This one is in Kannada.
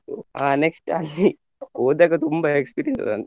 ಆ next ಅಲ್ಲಿ ಹೋದಾಗ ತುಂಬ experience .